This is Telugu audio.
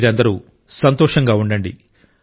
మీరందరూ సంతోషంగా ఉండండి